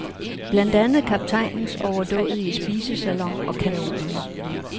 Blandt andet kaptajnens overdådige spisesalon og kanonerne.